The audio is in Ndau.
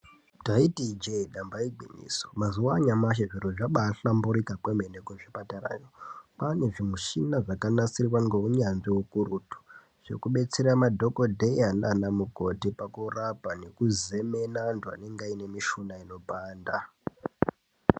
Taiti ijee damba igwinyiso, mazuwa anyamashi zviro zvabaahlamburika kwemene kuzvipatarayo. Kwane zvimichini zvakanasirwa ngehunyanzvi hukurututu zvekudetsera madhokoteya nana mukoti pakurapa nekuzemena antu anenge aine mishuna inopanda.